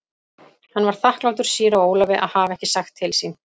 Hann var þakklátur síra Ólafi að hafa ekki sagt til sín.